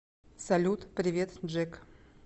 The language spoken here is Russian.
салют привет джек